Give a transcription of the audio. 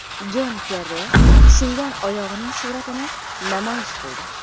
Jon Kerri singan oyog‘ining suratini namoyish qildi.